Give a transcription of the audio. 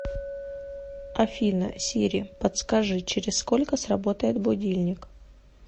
афина сири подскажи через сколько сработает будильник